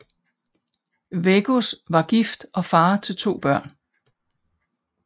Veggos var gift og far til to børn